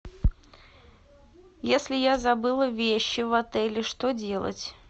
если я забыла вещи в отеле что делать